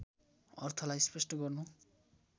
अर्थलाई स्पष्ट गर्नु